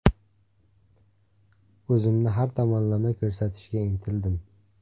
O‘zimni har tomonlama ko‘rsatishga intildim.